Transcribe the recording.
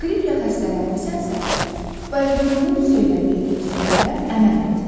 Qriplə xəstələnmisənsə, valideyninin söylədiyi tövsiyələrə əməl et.